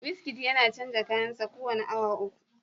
Wizkid yana canza kayan sa kowane awa uku